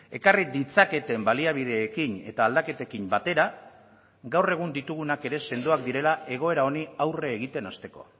ekarri ditzaketen baliabideekin eta aldaketekin batera gaur egun ditugunak ere sendoak direla egoera honi aurre egiten hasteko